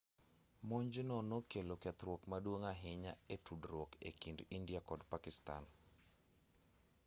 monj no nokelo kethruok maduong' ahinya e tudruok e kind india kod pakistan